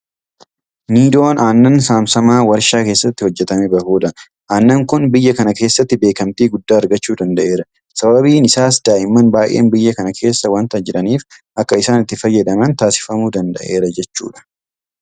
Niidoon Aannan saamsamaa warshaa keessaa hojjetamee bahudha. Aannan kun biyya kana keessatti beekamtii guddaa argachuu danda'eera. Sababiin isaas daa'imman baay'een biyya kana keessa waanta jiraniif akka isaan itti fayyadaman taasifamuu danda'aara jechuudha.